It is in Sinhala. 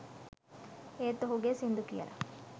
ඒත් ඔහුගේ සිංදු කියලා